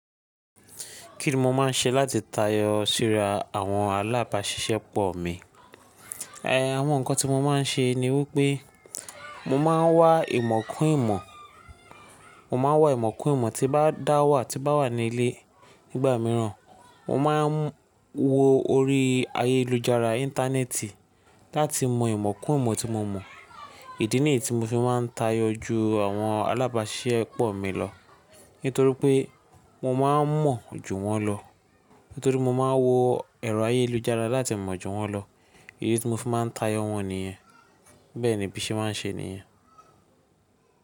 Kí ni mo máa ń ṣe láti tayọ síra àwọn alábáṣiṣẹ́ pọ̀ mi? Àwọn nǹkan tí mo máa ń ṣe ni wípé mo máa ń wá ìmọ̀ kún ìmọ̀, mo máa ń wá ìmọ̀ kún ìmọ̀ tí bá dá wà, tí bá wà ní ilé. Nígbà mìíràn, mo máa ń wo orí ayélujára Íńtánẹ́ẹ̀tì láti mọ ìmọ̀ kún ìmọ̀ tí mo mọ̀. Ìdí nìyí tí mo fi máa ń tayọ ju àwọn alábáṣiṣẹ́ pọ̀ mi lọ. Nítorí pé mo máa ń mọ̀ ju wọ́n lọ. Nítorí mo máa ń wo ẹ̀rọ ayélujára láti mọ̀ ju wọ́n lọ. Èyí ni tí mo fi máa ń tayọ wọ́n nìyẹn. Bẹ́ẹ̀ ni bí ṣe máa ń ṣe nìyẹn.